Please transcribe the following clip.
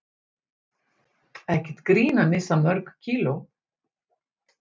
Ekkert grín að missa mörg kíló